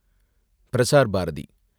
Prasar Bharathi